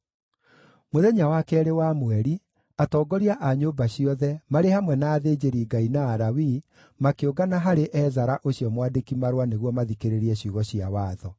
Mũthenya wa keerĩ wa mweri, atongoria a nyũmba ciothe, marĩ hamwe na athĩnjĩri-Ngai na Alawii, makĩũngana harĩ Ezara ũcio mwandĩki-marũa nĩguo mathikĩrĩrie ciugo cia Watho.